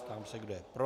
Ptám se, kdo je pro.